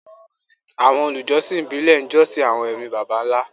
Àwọn olùjọsìn ìbílẹ̀ ń jọ́sìn àwọn ẹ̀mí baba ńlá